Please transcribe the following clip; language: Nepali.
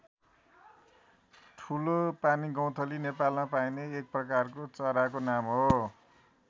ठुलो पानीगौँथली नेपालमा पाइने एक प्रकारको चराको नाम हो।